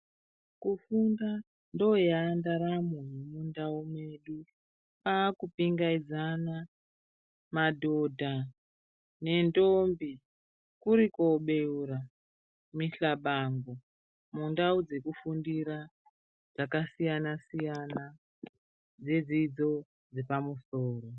Kufunda ndo yaandaramo mu ndau medu kwaaku pingaidzana madhodha nendombi kuri kwo beura mihlabango mundau dzekufundira dzaka siyana siyana dzedzidzo dzepamusoro.